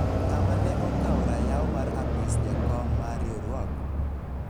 ng'ama ne okawo rayaw mar apis jakom mar riwruok ?